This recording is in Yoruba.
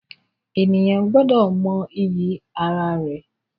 Ènìyàn gbọ́dọ̀ mọ iyì ara rẹ̀